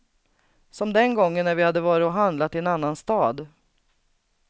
Som den gången när vi hade varit och handlat i en annan stad.